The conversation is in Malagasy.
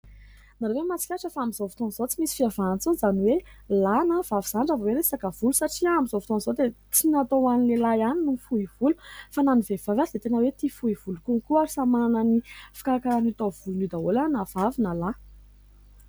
Nareo ve mahatsikatra fa amin'izao fotoan'izao tsy misy fiavahana intsony izany hoe lahy na vavy izany hoe resaka volo satria amin'izao fotoan'izao dia tsy natao ho an'ny lehilahy ihany ny fohy volo fa na ny vehivavy, ary dia tena hoe tia fohy volo kokoa ayt samy manana ny fikarakarany atao amin'ny volony io daholy na vavy na lahy.